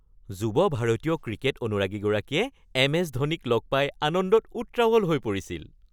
যুৱ ভাৰতীয় ক্ৰিকেট অনুৰাগীগৰাকীয়ে এম.এছ. ধোনীক লগ পাই আনন্দত উত্ৰাৱল হৈ পৰিছিল।